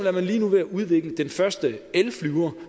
er man lige nu ved at udvikle den første elflyver